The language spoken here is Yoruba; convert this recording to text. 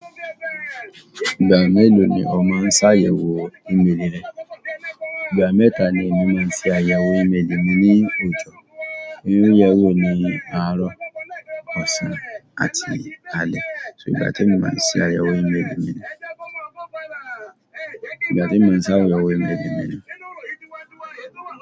Ìgbà mélòó ni ó máa ń ṣàyẹ̀wò ìmẹ́lẹ́ rẹ? Ìgbà mẹ́ta ni èmi máa ń ṣe àyẹ̀wò ìmẹ́lẹ́ mi ní òjọ́. Ìmúǹyẹwò ni àárọ̀, ọ̀sán àti alẹ́. So ìgbà tí mo máa ń ṣe àyẹ̀wò ìmẹ́lẹ́ mi nìyẹn. Ìgbà tí mo n ṣe àyẹ̀wò ìmẹ́lẹ́ mi ni.